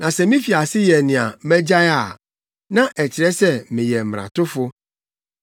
Na sɛ mifi ase yɛ nea magyae a, na ɛkyerɛ sɛ meyɛ mmaratofo.